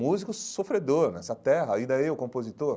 Músico sofredor nessa terra, ainda eu, compositor.